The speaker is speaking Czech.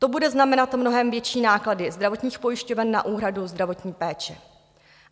To bude znamenat mnohem větší náklady zdravotních pojišťoven na úhradu zdravotní péče.